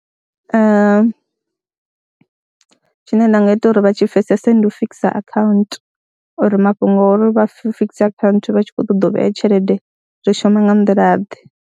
Tshine nda nga ita uri vha tshi pfhesese ndi u fikisa akhaunthu uri mafhungo o ri vha fikise akhaunthu vha tshi khou ṱoḓa u vhea tshelede zwo shuma nga nḓilaḓe.